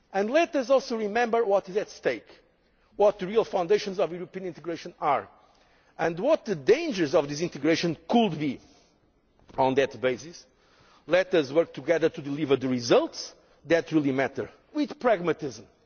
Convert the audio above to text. ancestors. Let us remember what is at stake, what the real foundations of European integration are, and what the dangers of disintegration could be. On that basis, let us work together to deliver the results that really matter with